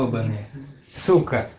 ебаны сука